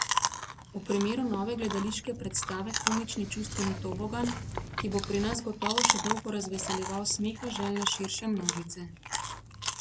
V primeru nove gledališke predstave komični čustveni tobogan, ki bo pri nas gotovo še dolgo razveseljeval smeha željne širše množice.